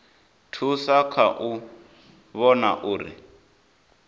thusa kha u vhona uri